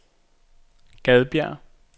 Gadbjerg